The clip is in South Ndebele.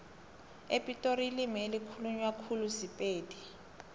epitori ilimi elikhulunywa khulu sipedi